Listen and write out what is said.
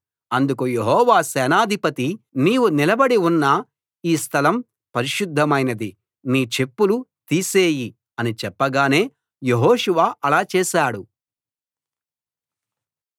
అందుకు యెహోవా సేనాధిపతి నీవు నిలబడి ఉన్న ఈ స్థలం పరిశుద్ధమైనది నీ చెప్పులు తీసేయి అని చెప్పగానే యెహోషువ అలా చేశాడు